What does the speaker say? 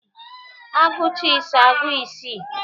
A gụcha ise, agụọ isii